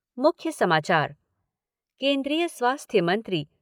मुख्य समाचार केन्द्रीय स्वास्थ्य मंत्री